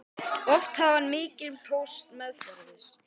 Oft hafði hann mikinn póst meðferðis.